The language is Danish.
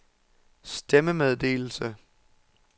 stemmemeddelelse